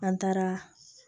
An taara